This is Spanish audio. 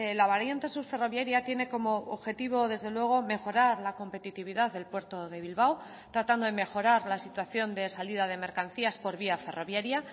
la variante sur ferroviaria tiene como objetivo desde luego mejorar la competitividad del puerto de bilbao tratando de mejorar la situación de salida de mercancías por vía ferroviaria